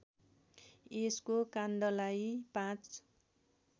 यसको काण्डलाई ५